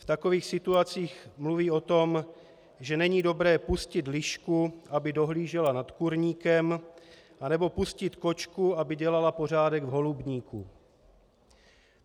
V takových situacích mluví o tom, že není dobré pustit lišku, aby dohlížela nad kurníkem, anebo pustit kočku, aby dělala pořádek v holubníku.